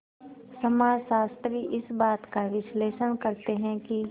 समाजशास्त्री इस बात का विश्लेषण करते हैं कि